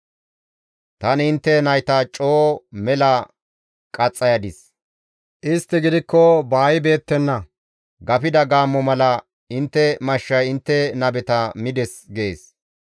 Tani intte nayta coo mela qaxxayadis; istti gidikko baaybeettenna; gafida gaammo mala intte mashshay intte nabeta mides» gees.